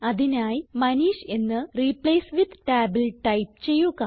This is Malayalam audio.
അതിനായി മനീഷ് എന്ന് റിപ്ലേസ് വിത്ത് ടാബിൽ ടൈപ്പ് ചെയ്യുക